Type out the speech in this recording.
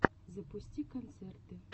запусти концерты